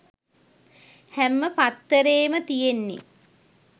හැම පත්තරේම තියෙන්නෙ